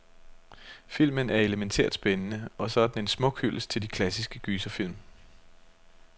Filmen er elemæntært spændende, og så er den en smuk hyldest til de klassiske gyserfilm.